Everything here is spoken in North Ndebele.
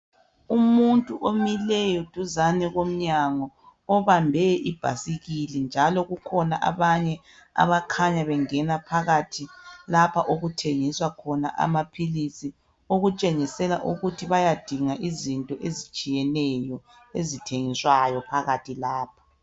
Umuntu omileyo duzane komnyango obambe ibhasikili njalo kukhona abanye abakhanya bengena phakathi lapha okuthengiswa khona amaphilisi okutshengisela ukuthi bayadinga izinto ezitshiyeneyo ezithengiswayo phakathi lapha.